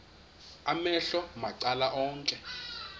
amehlo macala onke